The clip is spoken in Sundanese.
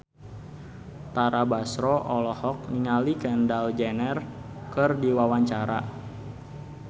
Tara Basro olohok ningali Kendall Jenner keur diwawancara